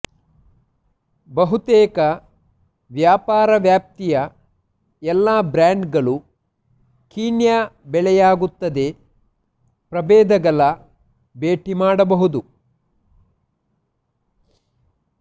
ಬಹುತೇಕ ವ್ಯಾಪಾರ ವ್ಯಾಪ್ತಿಯ ಎಲ್ಲ ಬ್ರ್ಯಾಂಡ್ಗಳು ಕೀನ್ಯಾ ಬೆಳೆಯಲಾಗುತ್ತದೆ ಪ್ರಭೇದಗಳ ಭೇಟಿ ಮಾಡಬಹುದು